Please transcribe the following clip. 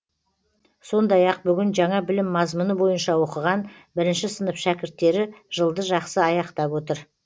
сондай ақ бүгін жаңа білім мазмұны бойынша оқыған бірінші сынып шәкірттері жылды жақсы аяқтап отыр